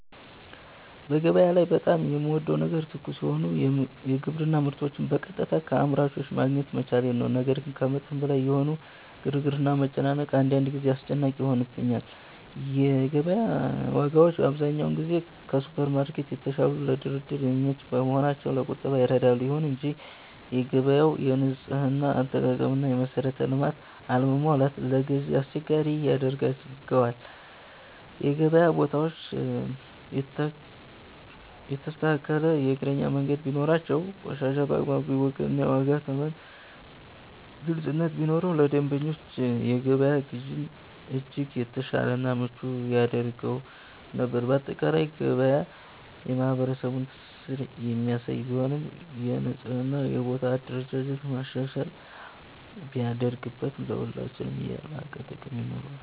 በገበያ ላይ በጣም የምወደው ነገር ትኩስ የሆኑ የግብርና ምርቶችን በቀጥታ ከአምራቾች ማግኘት መቻሌ ነው። ነገር ግን ከመጠን በላይ የሆነው ግርግርና መጨናነቅ አንዳንድ ጊዜ አስጨናቂ ይሆንብኛል። የገበያ ዋጋዎች አብዛኛውን ጊዜ ከሱፐርማርኬቶች የተሻሉና ለድርድር የሚመቹ በመሆናቸው ለቁጠባ ይረዳሉ። ይሁን እንጂ የገበያው የንጽህና አጠባበቅና የመሰረተ ልማት አለመሟላት ለግዢ አስቸጋሪ ያደርገዋል። የገበያ ቦታዎች የተስተካከለ የእግረኛ መንገድ ቢኖራቸው፣ ቆሻሻ በአግባቡ ቢወገድና የዋጋ ተመን ግልጽነት ቢኖረው ለደንበኞች የገበያ ግዢን እጅግ የተሻለና ምቹ ያደርገው ነበር። ባጠቃላይ ገበያ የማህበረሰቡን ትስስር የሚያሳይ ቢሆንም፣ የንጽህናና የቦታ አደረጃጀት ማሻሻያ ቢደረግበት ለሁላችንም የላቀ ጥቅም ይኖረዋል።